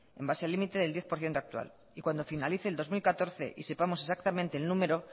en base al límite del diez por ciento actua l y cuando finalice el dos mil catorce y sepamos exactamente el número